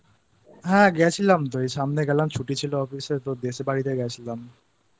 হ্যাঁ গেছিলাম তো; এই সামনে গেলাম ছুটি ছিল Office এ তো দেশের বাড়িতে গিয়েছিলাম।